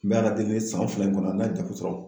N bɛ ALA deli san fila in kɔnɔ n'a ye degun sɔrɔ.